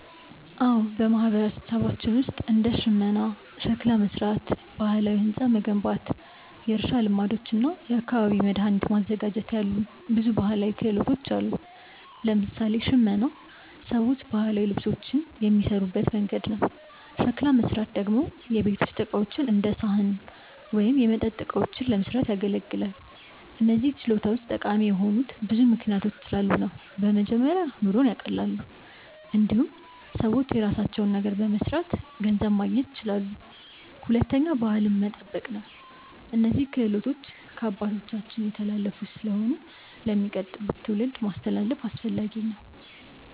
አዎ፣ በማህበረሰባችን ውስጥ እንደ ሽመና፣ ሸክላ መሥራት፣ ባህላዊ ሕንፃ መገንባት፣ የእርሻ ልማዶች እና የአካባቢ መድኃኒት ማዘጋጀት ያሉ ብዙ ባህላዊ ክህሎቶች አሉ። ለምሳሌ ሽመና ሰዎች ባህላዊ ልብሶችን የሚሠሩበት መንገድ ነው። ሸክላ መሥራት ደግሞ የቤት ውስጥ ዕቃዎች እንደ ሳህን ወይም የመጠጥ እቃዎችን ለመስራት ያገለግላል። እነዚህ ችሎታዎች ጠቃሚ የሆኑት ብዙ ምክንያቶች ስላሉ ነው። በመጀመሪያ ኑሮን ያቀላሉ። እንዲሁም ሰዎች የራሳቸውን ነገር በመስራት ገንዘብ ማግኘት ይችላሉ። ሁለተኛ ባህልን መጠበቅ ነው፤ እነዚህ ክህሎቶች ከአባቶቻችን የተላለፉ ስለሆኑ ለሚቀጥሉት ትውልዶች ማስተላለፍ አስፈላጊ ነው።